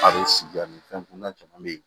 A bɛ sigi a ni fɛn caman bɛ yen